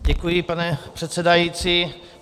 Děkuji, pane předsedající.